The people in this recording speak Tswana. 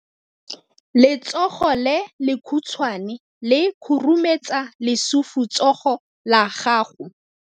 Letsogo le lekhutshwane le khurumetsa lesufutsogo la gago.